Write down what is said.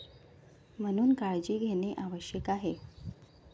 म्हणून काळजी घेणे आवश्यक आहे.